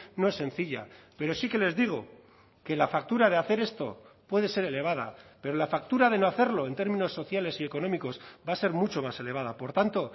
no es sencilla pero sí que les digo que la factura de hacer esto puede ser elevada pero la factura de no hacerlo en términos sociales y económicos va a ser mucho más elevada por tanto